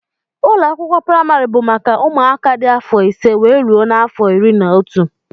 Ụlọakwụkwọ primari bụ maka ụmụaka dị afọ ise wee rụọ n'afọ ịrị na ọtú.